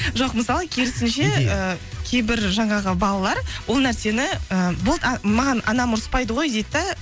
жоқ мысалы керісінше ііі кейбір жаңағы балалар ол нәрсені і болды ы маған анам ұрыспайды ғой дейді да